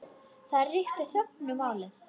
Það ríkti þögn um málið.